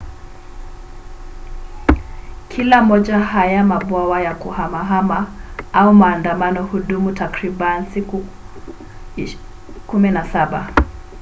kila moja haya mabwawa ya kuhamahama au maandamano hudumu takriban siku 17